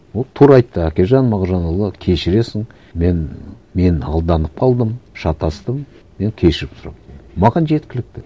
ол тура айтты әкежан мағжанұлы кешіресің мен мен алданып қалдым шатастым мен кешірім сұрап маған жеткілікті